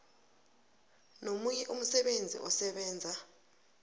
nomunye umsebenzi osebenza